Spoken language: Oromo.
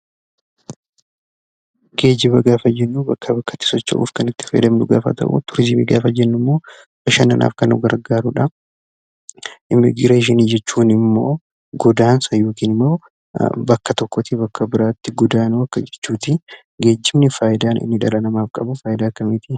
Geejjiba gafaa jennu bakka bakkatti socho'uuf kan itti faayadamnu gafaa ta'u, Turizimii gafaa jennu immoo bashannanaaf kan nu gargaruudha. Immigireeshinii jechuun immoo goddansaa yookiin immoo bakka tokkotti baakka biraatti goddanuu akka jechuutti. Geejjibni faayiidaa inni dhala namaaf qabu faayiidaa akkamitii?